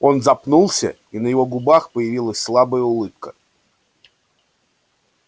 он запнулся и на его губах появилась слабая улыбка